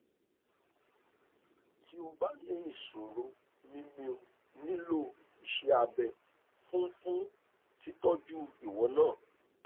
ti o ba ni isoro mimio ni lo ise abe fun fun titoju iwo naa